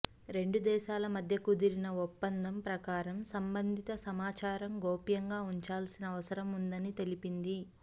రెండు దేశాల మధ్య కుదిరిన ఒప్పందం ప్రకారం సంబంధిత సమాచారం గోప్యంగా ఉంచాల్సిన అవసరం ఉందని తెలిపింది